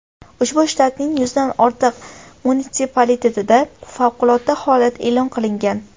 Ushbu shtatning yuzdan ortiq munitsipalitetida favqulodda holat e’lon qilingan.